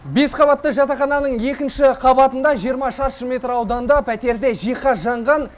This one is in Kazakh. бес қабатты жатақхананың екінші қабатында жиырма шаршы метр ауданда пәтерде жиһаз жанған